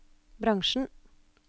bransjen